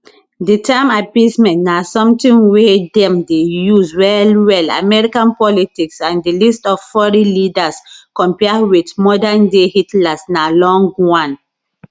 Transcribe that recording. di term appeasement na sometin wey dem dey use wellwell american politics and di list of foreign leaders compare wit modernday hitlers na long one